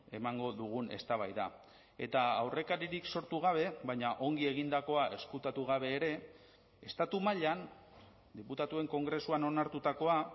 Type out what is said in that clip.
emango dugun eztabaida eta aurrekaririk sortu gabe baina ongi egindakoa ezkutatu gabe ere estatu mailan diputatuen kongresuan onartutakoa